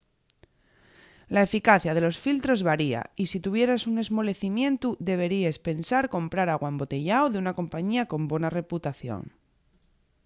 la eficacia de los filtros varia y si tuvieras un esmolecimientu deberíes pensar comprar agua embotellao d’una compañía con bona reputación